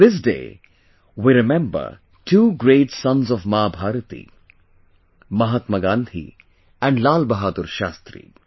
This day, we remember two great sons of Ma Bharati Mahatma Gandhi and Lal Bahadur Shastri